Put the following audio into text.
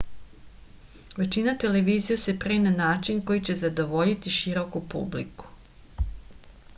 većina televizija se pravi na način koji će zadovoljiti široku publiku